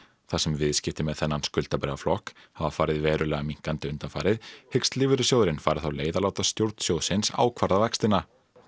þar sem viðskipti með þennan skuldabréfaflokk hafa farið verulega minnkandi undanfarið hyggst lífeyrissjóðurinn fara þá leið að láta stjórn sjóðsins ákvarða vextina